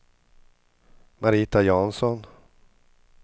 Marita Jansson